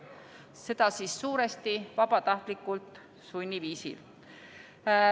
Seda suuresti vabatahtlikult-sunniviisil.